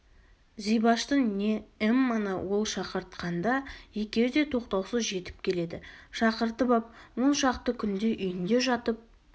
зибашты не эмманы ол шақыртқанда екеуі де тоқтаусыз жетіп келеді шақыртып ап он шақты күндей үйінде жатып